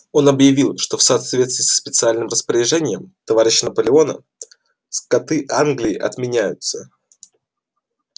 он объявил что в соответствии со специальным распоряжением товарища наполеона скоты англии отменяются